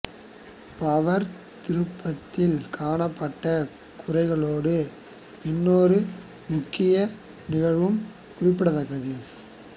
power திருப்பத்தில் காணப்பட்ட குறைகளோடு இன்னொரு முக்கிய நிகழ்வும் குறிப்பிடத்தக்கது